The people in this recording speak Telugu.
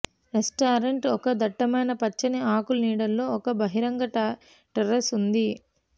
రెస్టారెంట్ ఒక దట్టమైన పచ్చని ఆకులు నీడలో ఒక బహిరంగ టెర్రేస్ ఉంది